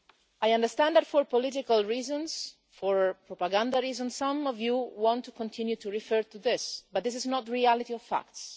I understand that, for political reasons, or propaganda reasons, some of you want to continue to refer to this, but this is not the reality of the facts.